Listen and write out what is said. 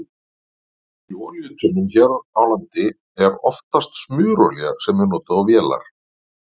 Í olíutunnum hér á landi er oftast smurolía sem er notuð á vélar.